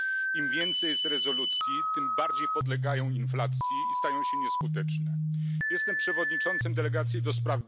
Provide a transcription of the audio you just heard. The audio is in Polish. Im więcej jest rezolucji, tym bardziej podlegają inflacji i stają się nieskuteczne. Jestem przewodniczącym Delegacji ds.